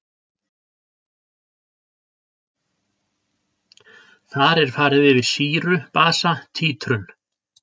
Þar er farið yfir sýru-basa títrun.